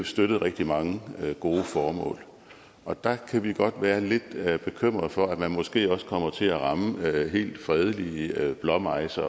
støttet rigtig mange gode formål og der kan vi godt være lidt bekymrede for at man måske også kommer til at ramme helt fredelige blåmejser